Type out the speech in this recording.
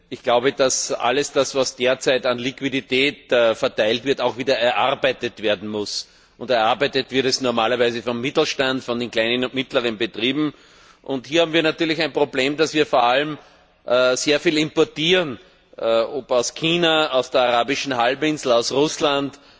Ich glaube, dass alles, was derzeit an Liquidität verteilt wird, auch wieder erarbeitet werden muss, und erarbeitet wird es normalerweise vom Mittelstand, von den kleinen und mittleren Betrieben. Hier haben wir natürlich ein Problem, da wir vor allem sehr viel importieren, ob aus China, von der Arabischen Halbinsel, aus Russland,